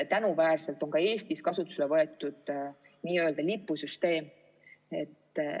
Tänuväärselt on ka Eestis kasutusele võetud n-ö lipusüsteem.